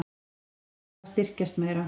Krónan þarf að styrkjast meira